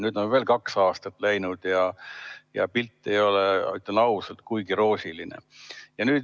Nüüd on veel kaks aastat läinud ja pilt ei ole, ütlen ausalt, kuigi roosiline.